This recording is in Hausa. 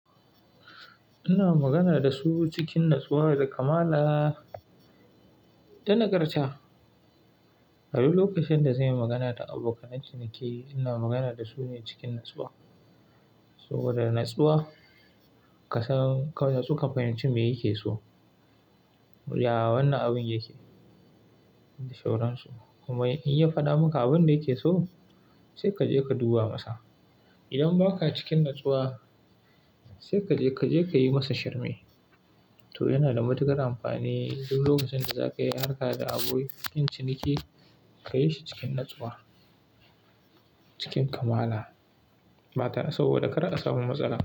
Ina magana da su cikin natsuwa da kamala, da nagarta. Ai lokacin da zan yi magana da abokanan ciniki, ina magana da su ne cikin natsuwa. Saboda da natsuwa, ka san, ka natsu ka fahimci me yake so, ya wannan abun yake, da shauran su. Kuma in ya faɗa maka abun da yake so, sai ka je ka duba masa. Idan baka cikin natsuwa, sai ka je, ka je ka yi musu shirme. To yana da matuƙar amfani, duk lokacin da za ka yi harka da abokin ciniki, ka yi shi cikin natsuwa, cikin kamala. Mata, saboda kar a samu matsala.